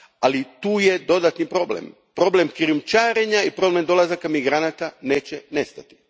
Ali tu je dodatni problem, problem krijumčarenja i problem dolazaka migranata neće nestati.